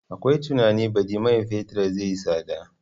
Akwai tunanin baɗi man fetur zai yi tsada.